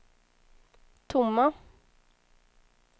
tomma